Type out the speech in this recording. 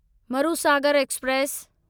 Marusagar express